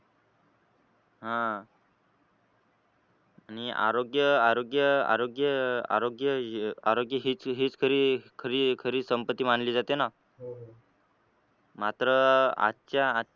हा आणि आरोग्य आरोग्य आरोग्य आरोग्य आरोग्य हेच खरी खरी संपत्ती मानली जाते ना मात्र आजच्या